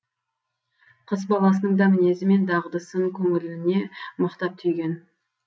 қыс баласының да мінезі мен дағдысын көңіліне мықтап түйген